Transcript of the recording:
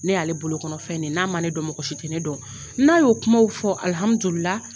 Ne y'ale bolo kɔnɔfɛn de ye n'a man ne dɔn mɔgɔsi tɛ ne dɔn n'a y'o kumaw fɔ